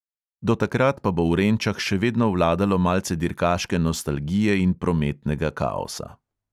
Do takrat pa bo v renčah še vedno vladalo malce dirkaške nostalgije in prometnega kaosa.